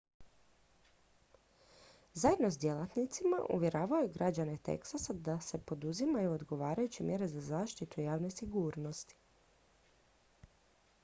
zajedno s djelatnicima uvjeravao je građane teksasa da se poduzimaju odgovarajuće mjere za zaštitu javne sigurnosti